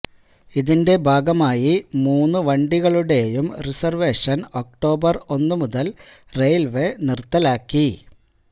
ഇതിന്റെ ഭാഗമായി മൂന്ന് വണ്ടികളുടെയും റിസര്വേഷന് ഒക്ടോബര് ഒന്നുമുതല് റെയില്വേ നിര്ത്തലാക്കി